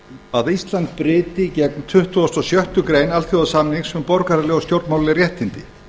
að ísland bryti gegn tuttugasta og sjöttu grein alþjóðasamningsins um borgaraleg og stjórnmálaleg réttindi